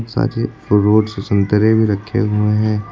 साजे रोड से संतरे भी रखे हुए हैं।